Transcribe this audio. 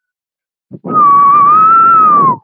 Aðeins var róið á sumrin.